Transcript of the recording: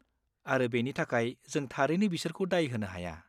आरो बेनि थाखाय जों थारैनो बिसोरखौ दाय होनो हाया।